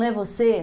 Não é você?